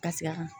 Ka se a kan